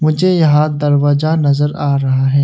मुझे यहां दरवाजा नजर आ रहा है।